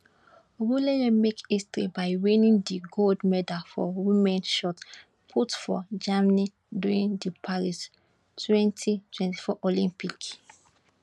ogunleye make history by winning di gold medal for women shot put for germany during di paris 2024 olympic